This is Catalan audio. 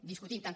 discutim tant com